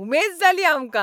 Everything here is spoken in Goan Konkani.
उमेद जाली आमकां.